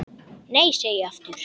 Nei, segi ég aftur.